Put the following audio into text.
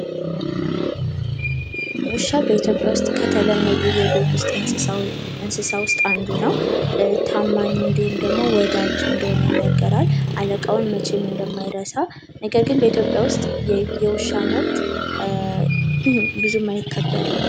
ውሻ በኢትዮጵያ ውስጥ ከተለመዱ የቤት ውስጥ እንስሳ ውስጥ አንዱ ነው። ታማኝ እንድሁም ደግሞ ወዳጅ እንደሆነ ይነገራል እቃውን መቼም እንደማይረሳ ነገር ግን በኢትዮጵያ ውስጥ የውሻ መብት ብዙም አይከበርም